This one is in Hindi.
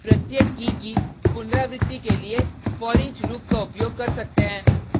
हम हैश की प्रत्येक कीkey की पुनरावृति के लिए foreach लूप का उपयोग कर सकते हैं